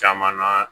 Caman na